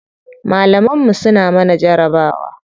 Malaman mu suna mana jarabawa.